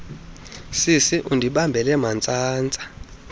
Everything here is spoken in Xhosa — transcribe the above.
sisi undibambele mantsantsa